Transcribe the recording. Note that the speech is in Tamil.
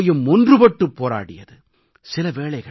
தேசம் முழுமையும் ஒன்றுபட்டு போராடியது